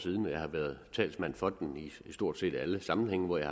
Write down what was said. siden og jeg har været talsmand for den i stort set alle sammenhænge hvor jeg